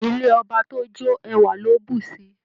Ilé ọba tí ó jó ẹwà ló bù síí.